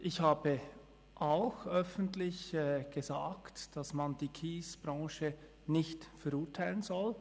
Ich habe auch öffentlich gesagt, dass man die Kiesbranche nicht verurteilen soll.